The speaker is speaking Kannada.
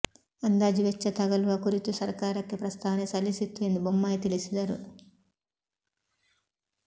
ಅಂದಾಜು ವೆಚ್ಚ ತಗಲುವ ಕುರಿತು ಸರಕಾರಕ್ಕೆ ಪ್ರಸ್ತಾವನೆ ಸಲ್ಲಿಸಿತ್ತು ಎಂದು ಬೊಮ್ಮಾಯಿ ತಿಳಿಸಿದರು